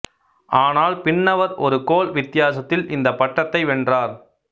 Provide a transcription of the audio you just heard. ஆனால் பின்னவர் ஒரு கோல் வி்த்தியாசத்தில் இந்த பட்டத்தை வென்றார்